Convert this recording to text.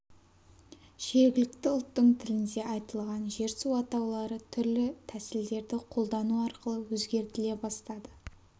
жергілікті ұлттың тілінде айтылған жер-су атаулары түрлі тәсілдерді қолдану арқылы өзгертіле бастады